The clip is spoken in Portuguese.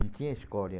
Não tinha escolha.